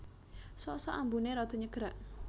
Sok sok ambuné rada nyegrak